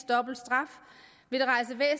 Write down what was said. dobbelt straf vil